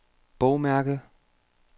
bogmærke